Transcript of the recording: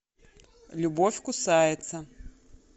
любовь кусается